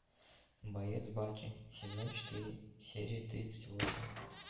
боец баки сезон четыре серия тридцать восемь